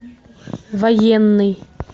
военный